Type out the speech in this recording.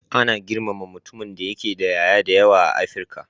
Ana girmama mutumin da yake da ƴaƴa da yawa a Afrika.